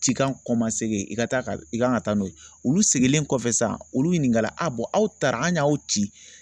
Cikan kɔmasegin i ka taa ka i kan ka taa n'o ye olu seginnen kɔfɛ sisan olu ɲininkata a aw taara anw y'aw ci